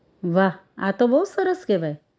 વાહ આ તો બહુ સરસ કહેવાય